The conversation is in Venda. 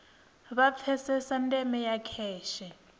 vha pfesese ndeme ya kheshe